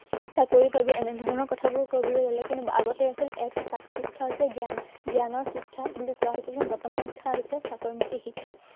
চাকৰি পাবি। এনেধৰণৰ কথাবোৰ কবলৈ ললে, কিন্তু আগতে আছিল এটা কথা, শিক্ষা হৈছে জ্ঞান। জ্ঞানৰ শিক্ষা বুলি কোৱা হৈছিল, কিন্তু বৰ্তমান শিক্ষা হৈছে চাকৰিমুখী শিক্ষা